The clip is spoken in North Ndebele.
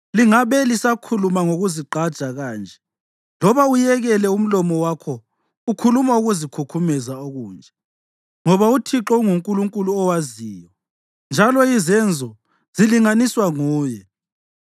Lingabe lisakhuluma ngokuzigqaja kanje loba uyekele umlomo wakho ukhuluma ukuzikhukhumeza okunje, ngoba uThixo unguNkulunkulu owaziyo, njalo izenzo zilinganiswa nguye.